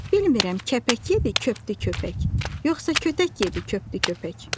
Bilmirəm kəpək yedi, köpdü köpək, yoxsa kötək yedi, köpdü köpək.